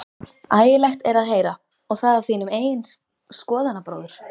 Ægilegt er að heyra, og það af þínum eigin skoðanabróður?